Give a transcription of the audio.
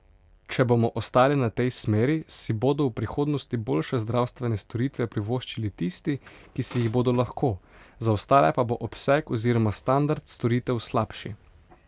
Če bomo ostali na tej smeri, si bodo v prihodnosti boljše zdravstvene storitve privoščili tisti, ki si jih bodo lahko, za ostale pa bo obseg oziroma standard storitev slabši.